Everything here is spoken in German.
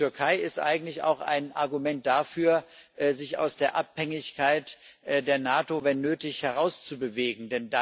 Die Türkei ist eigentlich auch ein Argument dafür, sich aus der Abhängigkeit von der NATO wenn nötig herauszubewegen.